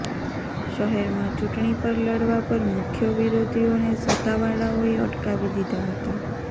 શહેરમાં ચૂંટણી પર લડવા પર મુખ્ય વિરોધીઓને સત્તાવાળાઓએ અટકાવી દીધા હતા